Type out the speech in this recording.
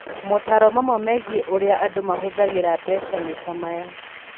Motaaro mamwe megiĩ ũrĩa andũ mahũthagĩra mbeca nĩ ta maya: